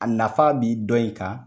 A nafa bi dɔnye kan